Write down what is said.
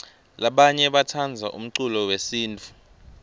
labanye batsandza umcululo wesintfu